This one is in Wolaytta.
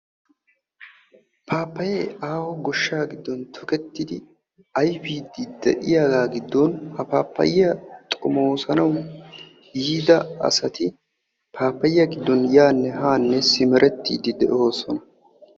Pappayye aaho goshsha giddon tokettidi ayfiidi de'iyaaga giddon ha pappayiyaa xoomossanaw yiida asati pappayiyaa giddon yaanne haanne simerettiide de'oosona.